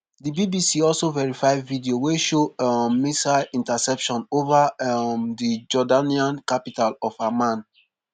di bbc also verify video wey show um missile interceptions ova um di jordanian capital of amman.